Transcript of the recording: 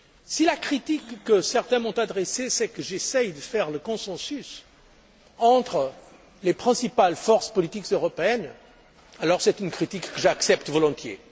à nous. Si la critique que certains m'ont adressée est que je recherche le consensus entre les principales forces politiques européennes, alors c'est une critique que j'accepte volontiers.